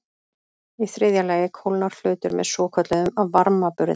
Í þriðja lagi kólnar hlutur með svokölluðum varmaburði.